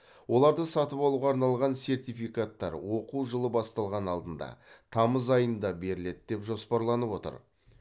оларды сатып алуға арналған сертификаттар оқу жылы басталар алдында тамыз айында беріледі деп жоспарланып отыр